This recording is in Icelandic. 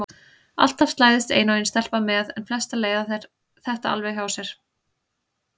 Alltaf slæðist ein og ein stelpa með en flestar leiða þetta alveg hjá sér.